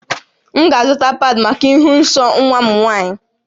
M ga-azụta paadị̀ maka ịhụ nsọ nwa m nwaanyị